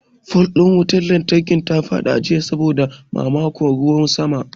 Fol ɗin wutar lantarkin ta faɗi jiya saboda mamakon ruwan sama.